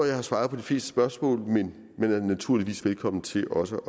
jeg har svaret på de fleste spørgsmål men man er naturligvis velkommen til også